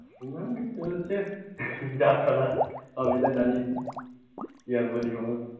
ঐ চলছে যা চলার, সবই তো জানিস, কি আর বলব বল,